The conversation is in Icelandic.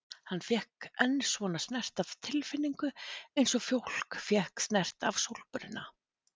Hann fékk enn svona snert af tilfinningu eins og fólk fékk snert af sólbruna.